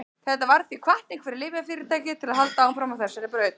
þetta varð því hvatning fyrir lyfjafyrirtæki til að halda áfram á þessari braut